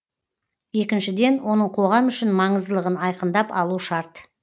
екіншіден оның қоғам үшін маңыздылығын айқындап алу шарт